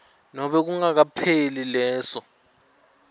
nobe kungakapheli leso